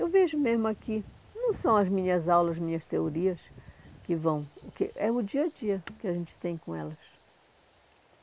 Eu vejo mesmo aqui, não são as minhas aulas, as minhas teorias que vão... Porque é o dia a dia que a gente tem com elas.